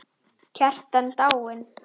Kjartan dáinn!